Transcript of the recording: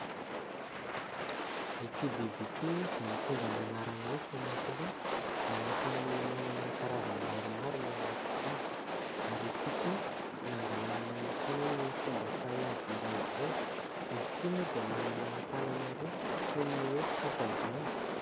Ity biby ity izay mitondra ny anarana hoe :" famaky loha" dia anisany manana karazany maromaro maneran-tany ary ity koa nangalan'ny Sinoa ny fomba fahay ady iray izay. Izy ity moa dia manana tànana roa toy ny hoe tsofa izany.